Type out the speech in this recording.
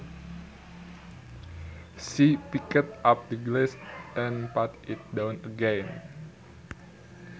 She picked up the glass and put it down again